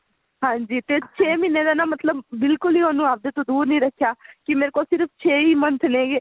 ਹਾਂਜੀ ਤੇ ਛੇ ਮਹੀਨੇ ਤਾਂ ਨਾ ਮਤਲਬ ਬਿਲਕੁਲ ਵੀ ਆਪਦੇ ਤੋ ਦੁਰ ਨੀ ਰੱਖਿਆ ਕੀ ਮੇਰੇ ਕੋਲ ਸਿਰਫ਼ ਛੇ ਹੀ month ਨੇ